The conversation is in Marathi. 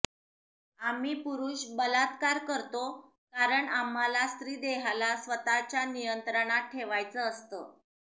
आम्ही पुरुष बलात्कार करतो कारण आम्हाला स्त्री देहाला स्वतःच्या नियंत्रणात ठेवायचं असतं